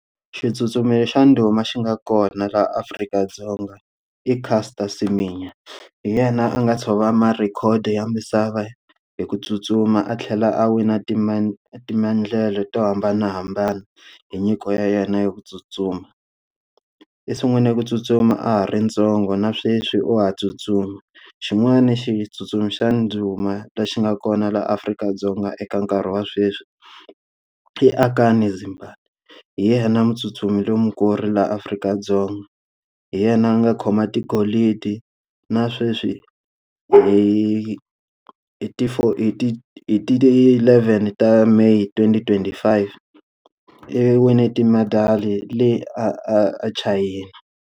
Xitsutsumi xa ndhuma xi nga kona laha Afrika-Dzonga i Caster Semenya. Hi yena a nga tshova ma-record ya misava hi ku tsutsuma a tlhela a wina ti me timendlele to hambanahambana hi nyiko ya yena ya ku tsutsuma. I sungule ku tsutsuma a ha ri ntsongo na sweswi wa ha tsutsuma. Xin'wani xitsutsumi xa ndhuma lexi nga kona laha Afrika-Dzonga eka nkarhi wa sweswi i Akani Simbine. Hi yena mutsutsumi lonkulu laha Afrika-Dzonga. Hi yena a nga khoma tigolidi na sweswi hi hi ti hi ti ti ti ti eleven ta May twenty twenty five, i wine timedali le a a a China.